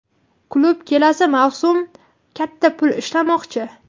Klub kelasi mavsum katta pul ishlamoqchi.